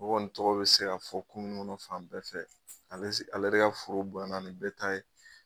A kɔni tɔgɔ bɛ se ka fɔ komuni kɔnɔ fan bɛɛ fɛ, ale de ka foro bonyanna ni bɛ ta ye!